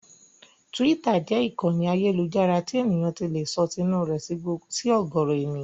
Tíwítà jẹ́ ìkànnì ayélujára tí èèyàn ti lè sọ tinú rẹ̀ sí ọ̀gọ̀ọ̀rọ̀ èèyàn.